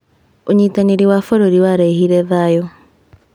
ũnyitanĩri wa bũrũri warehire thayũ.